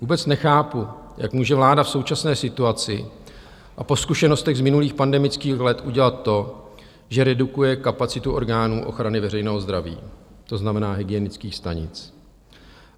Vůbec nechápu, jak může vláda v současné situaci a po zkušenostech z minulých pandemických let udělat to, že redukuje kapacitu orgánů ochrany veřejného zdraví, to znamená hygienických stanic.